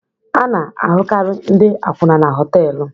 A na-ahụkarị ndị akwụna na họtelu.